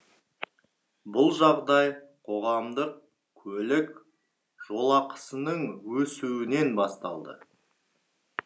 бұл жағдай қоғамдық көлік жолақысының өсуінен басталды